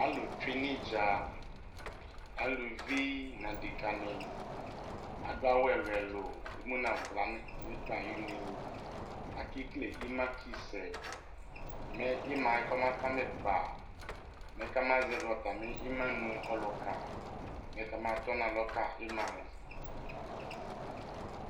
alʋ twɛnʋ itdza, alʋvi nʋ adɛka ni, adʋ awʋ ɛlʋɛlʋ, ɛmʋnʋ ala nʋ ikpa ayʋnɛ, akɛkɛlɛ ima ki sɛ mɛ imaɛ kɔma kama ikpa, mɛ kʋ ama zɛvi atamiima nʋ ɔlʋka mɛ kʋ ɔma tɔnʋ alɔ ka imaɛ